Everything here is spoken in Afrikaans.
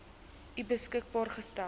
u beskikbaar gestel